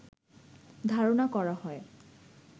ধারনা করা হয়